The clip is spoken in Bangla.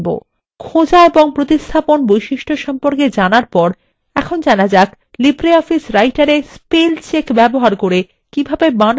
খোঁজা এবং প্রতিস্থাপন বৈশিষ্ট্য সম্পর্কে জানার পরে এখন জানা যাক libreofficewriter we স্পেল check ব্যবহার করে কিভাবে বানান পরীক্ষা করা যায়